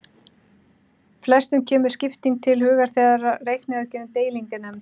Flestum kemur skipting til hugar þegar reikniaðgerðin deiling er nefnd.